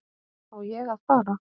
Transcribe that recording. Á ég að fara?